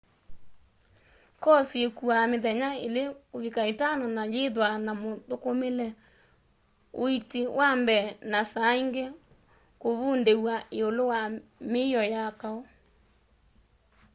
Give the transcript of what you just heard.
koosi îkuaa mithenya 2-5 na yîîthwa na muthukumile uiiti wa mbee na saa ingi kûvundîw'a îûlû wa mîio ya kaû